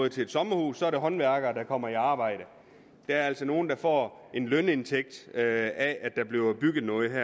til et sommerhus er der håndværkere der kommer i arbejde der er altså nogle der får en lønindtægt af at der bliver bygget noget det